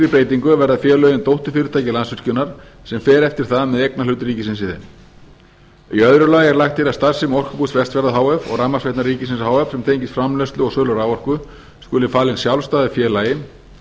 breytingu verða félögin dótturfyrirtæki landsvirkjunar sem fer eftir það með eignarhlut ríkisins í þeim í öðru lagi er lagt til að starfsemi orkubús vestfjarða h f og rafmagnsveitna ríkisins h f sem tengist framleiðslu og sölu raforku skuli falin sjálfstæðu félagi